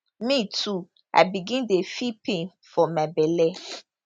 me too i begin dey feel pain for my belle